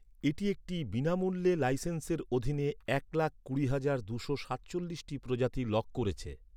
এটি একটি বিনামূল্যে লাইসেন্সের অধীনে এক লাখ কুড়ি হাজার দুশো সাতচল্লিশটি প্রজাতি লগ করেছে।